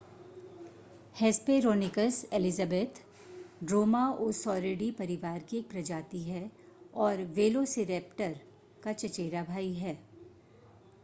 Hesperonychus Elizabeth dromaeosauridae परिवार की एक प्रजाति है और वेलोसिरैप्टर का चचेरा भाई है